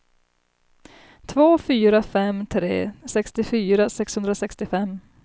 två fyra fem tre sextiofyra sexhundrasextiofem